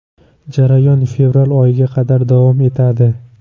Jarayon fevral oyiga qadar davom etadi.